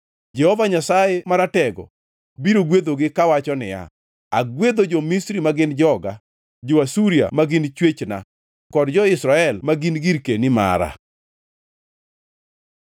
Jehova Nyasaye Maratego biro gwedhogi kawacho niya, “Agwedho jo-Misri ma gin joga, jo-Asuria ma gin chwechna kod jo-Israel ma gin girkeni mara.”